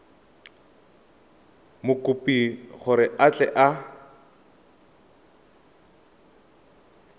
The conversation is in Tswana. mokopi gore a tle a